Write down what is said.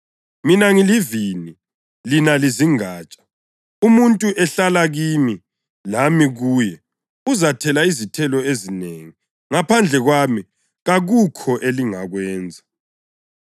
Mina ngilivini; lina lizingatsha. Nxa umuntu ehlala kimi lami kuye, uzathela izithelo ezinengi; ngaphandle kwami kakukho elingakwenza.